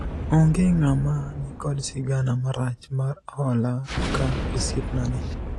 onge ng'ama nikod sigana marach mar hola ka osiepna ni